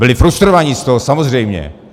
Byli frustrovaní z toho, samozřejmě.